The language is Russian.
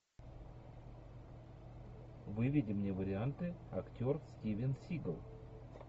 выведи мне варианты актер стивен сигал